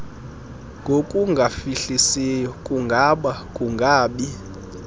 ngokungafihlisiyo kungaba kungabi